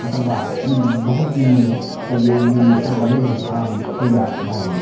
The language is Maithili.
एकर बाद इ बहुत दिन में ते ए से बने रहे आब इ तैयार भए गेले --